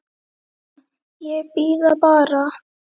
Ekki núna, ég bíð bara.